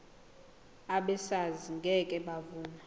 abesars ngeke bavuma